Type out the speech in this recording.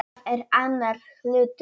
Það er annar hlutur.